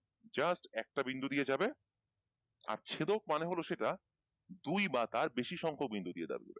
just একটা বিন্দু দিয়ে যাবে আর ছেদক মানে হল সেটা দুই বা তার বেশি সংখ্যক বিন্দু দিয়ে যাবে ।